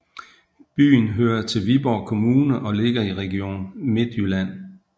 Byen hører til Viborg Kommune og ligger i Region Midtjylland